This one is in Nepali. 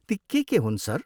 ती के के हुन्, सर?